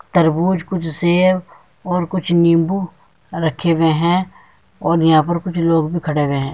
तरबूज़ कुछ सेब और कुछ नीबू रखे हुए हैं और यहाँ कुछ लोग भी खड़े हुए हैं।